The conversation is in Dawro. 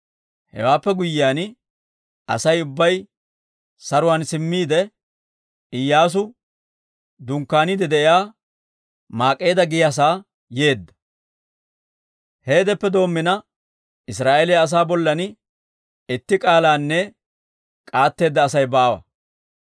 Hewaappe guyyiyaan, Asay ubbay saruwaan simmiide, Iyyaasu dunkkaaniide de'iyaa Maak'eeda giyaasaa yeedda. Heedeppe doommina Israa'eeliyaa asaa bollan itti k'aalaanne k'aatteedda Asay baawa.